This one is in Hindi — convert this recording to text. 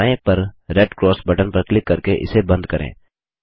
ऊपर बाएँ पर रेड क्रॉस बटन पर क्लिक करके इसे बंद करें